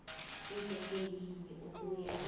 iveke yinye ukuya